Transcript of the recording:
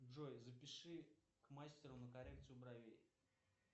джой запиши к мастеру на коррекцию бровей